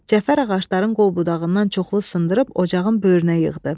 Cəfər ağacların qol-budağından çoxlu sındırıb ocağın böyrünə yığdı.